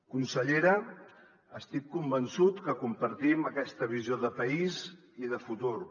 consellera estic convençut que compartim aquesta visió de país i de futur